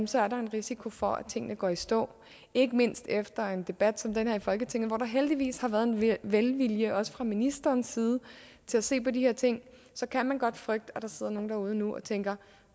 så er der en risiko for at tingene går i stå ikke mindst efter en debat som den her i folketinget hvor der heldigvis har været en velvilje også fra ministerens side til at se på de her ting så kan man godt frygte at der sidder nogle derude nu og tænker